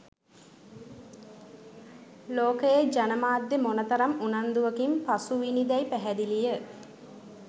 ලෝකයේ ජනමාධ්‍ය මොන තරම් උනන්දුවකින් පසුවිණි දැයි පැහැදිලිය